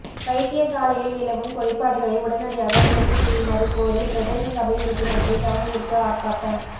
வைத்தியசாலையில் நிலவும் குறைபாடுகளை உடனடியாக நிவர்த்தி செய்யுமாறு கோரி பிரதேச சபை உறுப்பினர்கள் கவனயீர்ப்பு ஆர்ப்பாட்டம்